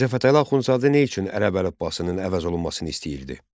Mirzə Fətəli Axundzadə nə üçün ərəb əlifbasının əvəz olunmasını istəyirdi?